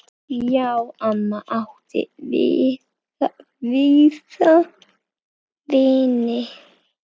Já, amma átti víða vini.